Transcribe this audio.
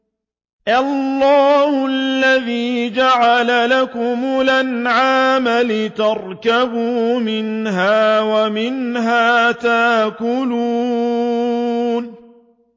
اللَّهُ الَّذِي جَعَلَ لَكُمُ الْأَنْعَامَ لِتَرْكَبُوا مِنْهَا وَمِنْهَا تَأْكُلُونَ